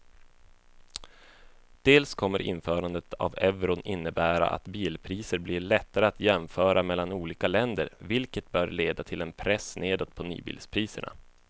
Dels kommer införandet av euron innebära att bilpriser blir lättare att jämföra mellan olika länder vilket bör leda till en press nedåt på nybilspriserna.